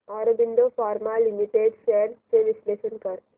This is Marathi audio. ऑरबिंदो फार्मा लिमिटेड शेअर्स चे विश्लेषण कर